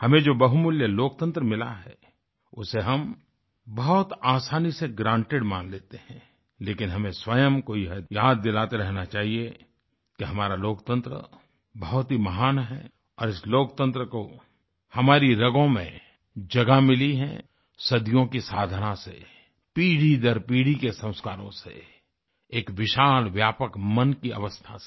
हमें जो बहुमूल्य लोकतंत्र मिला है उसे हम बहुत आसानी से ग्रांटेड मान लेते हैं लेकिन हमें स्वयं को यह याद दिलाते रहना चाहिए कि हमारा लोकतंत्र बहुत ही महान है और इस लोकतंत्र को हमारी रगों में जगह मिली है सदियों की साधना से पीढ़ीदरपीढ़ी के संस्कारों से एक विशाल व्यापक मन की अवस्था से